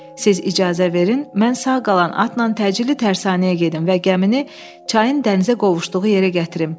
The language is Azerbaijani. Siz icazə verin, mən sağ qalan atla təcili tərsanəyə gedim və gəmini çayın dənizə qovuşduğu yerə gətirim.